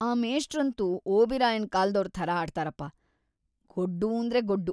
ಆ ಮೇಷ್ಟ್ರಂತೂ ಓಬಿರಾಯನ್‌ ಕಾಲ್ದೋರ್‌ ಥರ ಆಡ್ತಾರಪ.. ಗೊಡ್ಡೂಂದ್ರೆ ಗೊಡ್ಡು.